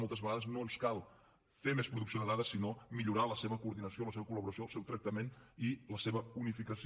moltes vegades no ens cal fer més producció de dades sinó millorar la seva coordinació la seva col·laboració el seu tractament i la seva unificació